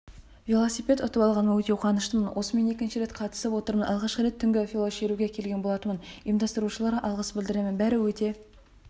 велосипед ұтып алғаныма өте қуаныштымын осымен екінші рет қатысып отырмын алғашқы рет түнгі велошеруге келген болатынмын ұйымдастырушыларга алғыс білдіріемін бәрі өте